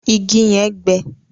Ìgi yẹn gbẹ.